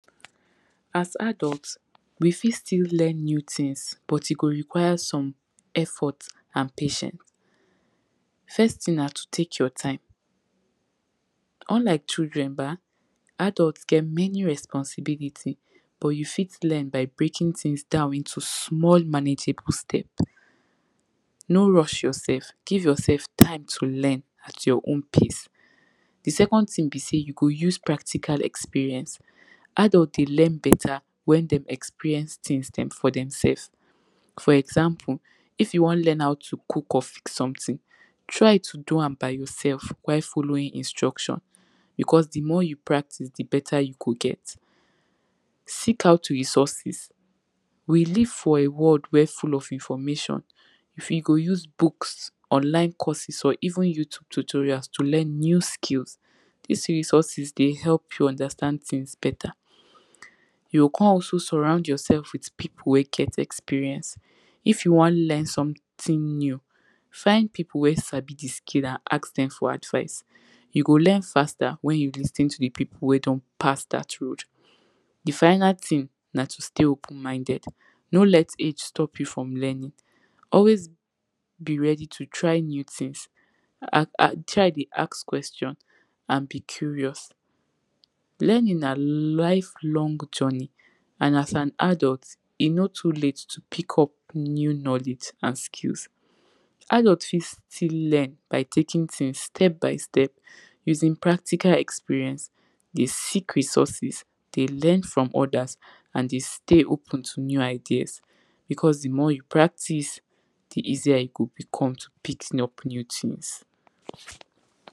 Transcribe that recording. As adults we fit still learn new things but e go require some effort, and patient. First thing na to take your time. Unlike children bah, adult get many responsibility but you fit learn by breaking things down into small manageable step. No rush yourself; give yourself time to learn at your own pace. The second thing be sey you go use practical experience, adult dey learn better wey dem experience things dem for dem sefs. for example if your wan learn how to cook of something, try to do am by yourself while following instruction, because di more you practice, di better you go get, seek out for resources, we live for a world wen full of information. you fit go use books, online courses or even YouTube tutorial to learn new skills. dis resources dey help you understand things better. you go come also surround yourself with people wey get experience. if you wan learn something new, find people wey sabi di skill and ask dem for advice, you go learn faster wen you lis ten to people wen don pass dat road. di final thing na to stay open minded, no let age stop you from learning. always be ready to learn new things, [urn] try dey ask questions and be curious, learning na life long journey and as an adult e no too late to pick up new knowledge and skills. adult fit still learn, by taking things step by step, using practical experience, dey seek resources, dey learn from odas and dey stay open to new ideas because di more you practice, di easier e go become to pick up new things.